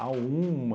uma...